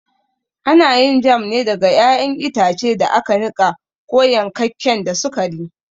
Ana yin jam ne daga ƴaƴan itace da aka niƙa ko yankakken da sukari.